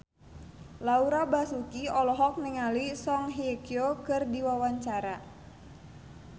Laura Basuki olohok ningali Song Hye Kyo keur diwawancara